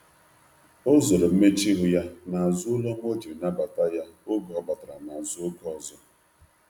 o zoro mmechuihu ya na azu olu ọma ojiri nabata ya oge ọ batara na azụ oge ọzọ